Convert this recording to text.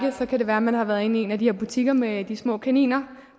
kan det være at man har været inde i en af de her butikker med de små kaniner